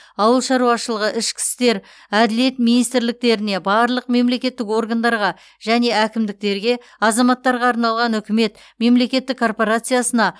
ауыл шаруашылығы ішкі істер әділет министрліктеріне барлық мемлекеттік органдарға және әкімдіктерге азаматтарға арналған үкімет мемлекеттік корпорациясына